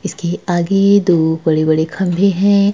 इसके आगे दो बड़े-बड़े खम्भे हैं।